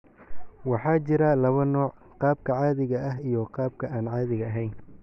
Waxaa jira laba nooc, qaabka caadiga ah iyo qaabka aan caadiga ahayn.